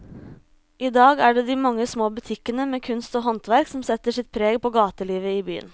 I dag er det de mange små butikkene med kunst og håndverk som setter sitt preg på gatelivet i byen.